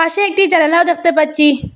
পাশে একটি জানালাও দেখতে পাচ্ছি।